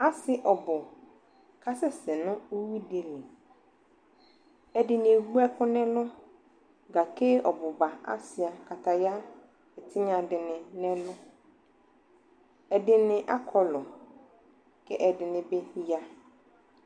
Ase ɔbo kasɛsɛ no uwi de li Ɛde ne ewu ɛku nɛlu gake ɔbu ba asua kataya tinya de ne nɛlu Ɛde ne akɔlu kɛ ɛde ne be ya